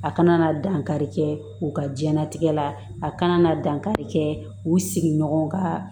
A kana na dankari kɛ u ka diɲɛlatigɛ la a kana na dankari kɛ u sigiɲɔgɔn ka